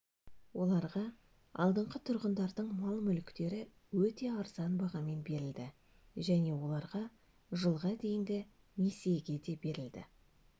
оларға алдынғы тұрғындардың мал-мүліктері өте арзан бағамен берілді және оларға жылға дейінгі несиеге де берілді